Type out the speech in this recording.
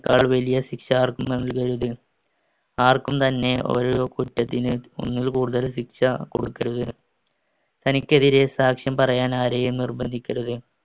ക്കാൾ വലിയ ശിക്ഷ ആർക്കും നല്‍കരുത്. ആര്‍ക്കും തന്നെ ഒരു കുറ്റത്തിന് തന്നെ ഒന്നിൽ കൂടുതൽ ശിക്ഷ കൊടുക്കരുത്. തനിക്കെതിരെ സാക്ഷ്യം പറയാൻ ആരെയും നിർബന്ധിക്കരുത്.